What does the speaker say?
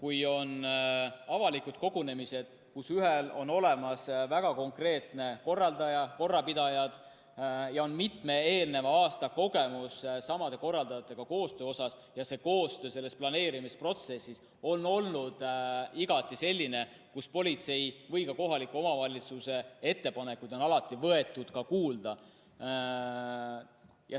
Ühed avalikud kogunemised on sellised, kus on olemas väga konkreetne korraldaja ja korrapidajad, on mitme eelneva aasta koostöökogemus samade korraldajatega ja see koostöö planeerimisprotsessis on olnud igati selline, kus politsei ja ka kohaliku omavalitsuse ettepanekuid on alati kuulda võetud.